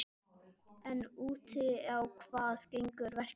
En út á hvað gengur verkefnið?